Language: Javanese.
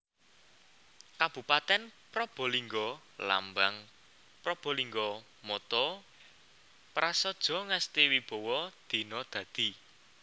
Kabupatèn PrabalinggaLambang PrabalinggaMotto Prasadja Ngesti Wibawa Dina Dadi